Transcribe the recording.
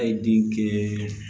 A ye den kɛ